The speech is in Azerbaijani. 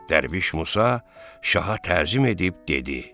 Dərviş Musa şaha təzim edib dedi: